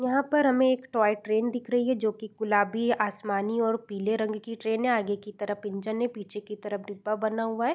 यहाँ पर हमें एक टॉय ट्रेन दिख रही है जो कि गुलाबी आसमानी और पीले रंग की ट्रेन है। आगे की तरफ इंजन है। पीछे की तरफ डिब्बा बना हुआ है।